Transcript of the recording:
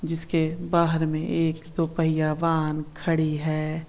जिसके बाहर मे एक दो पहिया वाहन खड़ी है।